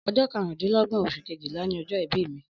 Ọjọ karun dín lógbón osun Kejìlá ni ọjọ ìbí mi